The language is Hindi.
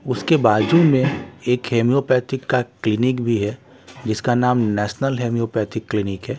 उसके बाजू में एक हेम्योपैथिक का क्लीनिक भी है जिसका नाम नेशनल हेम्योपैथिक क्लिनिक है।